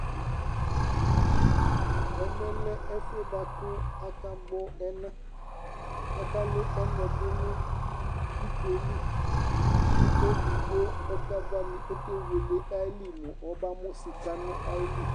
ɛmɛ lɛ ɛƒʋɛ bʋakʋ aka gbɔ ɛna kʋ aka lʋ ɛnaɛ dʋnʋ ikɔɛ li kʋ ɛdigbɔ ɔka vani ɔkɛ wɛlɛ ayili mʋ ɔbamʋ sika nʋ ayili